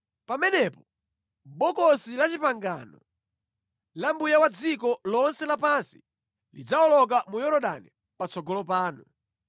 Pamenepo, Bokosi la Chipangano la Mbuye wa dziko lonse lapansi lidzawoloka mu Yorodani patsogolo panu.